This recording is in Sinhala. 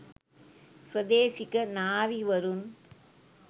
ස්වදේශික නාවි වරුන්